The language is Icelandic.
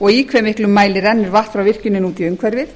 og í hve miklu mæli rennur vatn frá virkjuninni út í umhverfið